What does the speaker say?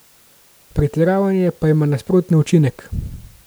Pretiravanje pa ima nasprotni učinek.